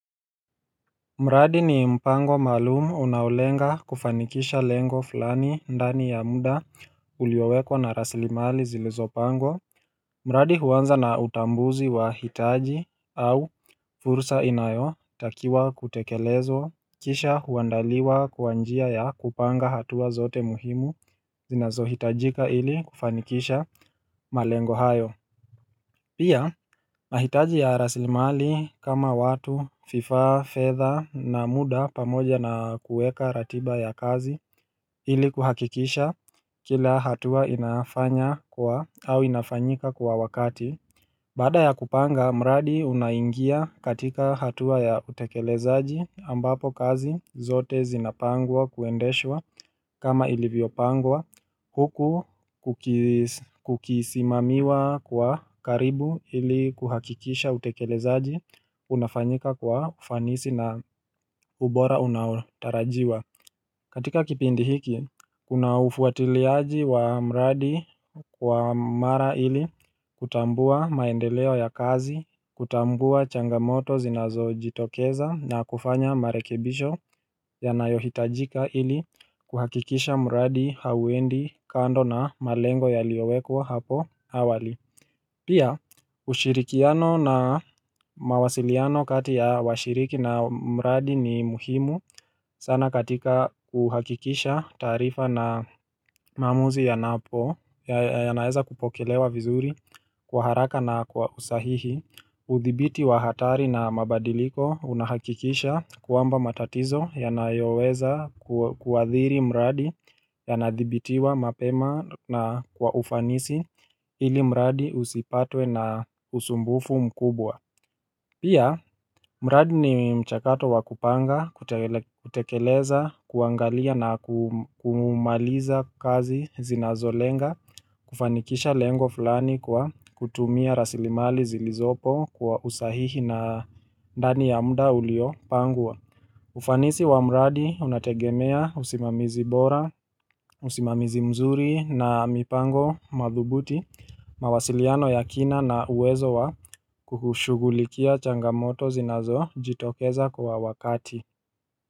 Mradi ni mpango maalum unaolenga kufanikisha lengo fulani ndani ya muda uliowekwa na raslimali zilizo pangwa mradi huanza na utambuzi wa hitaji au furusa inayo takiwa kutekelezwa Kisha huandaliwa kwa njia ya kupanga hatua zote muhimu zinazo hitajika ili kufanikisha malengo hayo Pia, nahitaji ya rasilimali kama watu vifaa, fedha na muda pamoja na kuweka ratiba ya kazi ili kuhakikisha kila hatua inafanya kwa au inafanyika kwa wakati Baada ya kupanga, mradi unaingia katika hatua ya utekelezaji ambapo kazi zote zinapangwa kuendeshwa kama ilivyo pangwa huku kukisimamiwa kwa karibu ili kuhakikisha utekelezaji unafanyika kwa ufanisi na ubora unatarajiwa. Katika kipindi hiki, kuna ufuatiliaji wa mradi kwa mara ili kutambua maendeleo ya kazi, kutambua changamoto zinazo jitokeza na kufanya marekebisho ya nayohitajika ili kuhakikisha mradi hauendi kando na malengo ya liyowekwa hapo awali. Pia ushirikiano na mawasiliano kati ya washiriki na mradi ni muhimu sana katika kuhakikisha taarifa na maamuzi ya napo ya naeza kupokelewa vizuri kwa haraka na kwa usahihi uthibiti wa hatari na mabadiliko unahakikisha kwamba matatizo ya nayoweza kuadhiri mradi ya nadhibitiwa mapema na kwa ufanisi ili mradi usipatwe na usumbufu mkubwa Pia, mradi ni mchakato wakupanga, kutekeleza, kuangalia na kumaliza kazi zinazolenga, kufanikisha lengo fulani kwa kutumia rasilimali zilizopo kwa usahihi na ndani ya muda ulio pangwa. Ufanisi wamradi unategemea usimamizi bora, usimamizi mzuri na mipango madhubuti, mawasiliano ya kina na uwezo wa kuhushugulikia changamoto zinazo jitokeza kwa wakati.